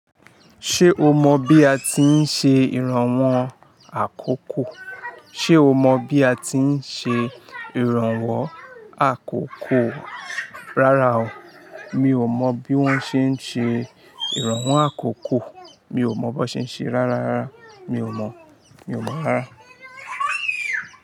Ṣé o mọ bí a ti ń ṣe ìrànwọ́ àkókò? Ṣé o mọ bí a ti ń ṣe ìrànwọ́ àkókò, rárá o. Mi ò mọ bí wón ṣe ń ṣe ìrànwọ́ àkókò. Mi ò mọ bó ṣe ń ṣe rárá rárá. Mi ò mọ, mi ò mọ rárá.